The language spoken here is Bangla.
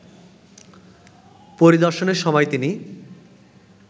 পরিদর্শনের সময় তিনি